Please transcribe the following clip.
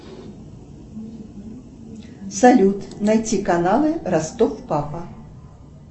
салют найти каналы ростов папа